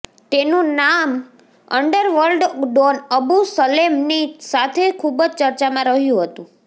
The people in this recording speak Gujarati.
તેનું નામ અંડરવર્લ્ડ ડોન અબુ સલેમ ની સાથે ખુબજ ચર્ચા માં રહ્યું હતું